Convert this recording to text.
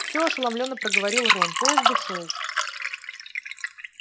всё ошеломлённо проговорил рон поезд ушёл